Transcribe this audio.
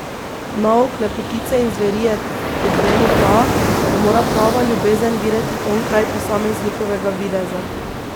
Nauk lepotice in zveri je, kot vemo, ta, da mora prava ljubezen videti onkraj posameznikovega videza.